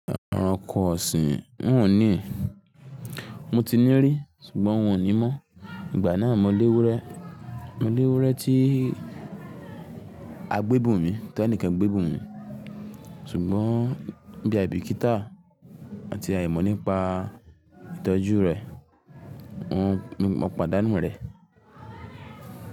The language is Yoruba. Ọrọ ọkọ sì n ò ní, mo ti ní rí ṣùgbọ́n n ò ní mọ̀. Ìgbà náà mo léwu rẹ̀, mo léwu rẹ̀ tí a gbé bùn mi tẹnìkan gbé bùn mi ṣùgbọ́n bí i àìbìkítà àti àìmọ̀ nípa ìtọ́jú rẹ, n ni mò pàdánù rẹ.